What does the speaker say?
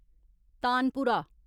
तानपुरा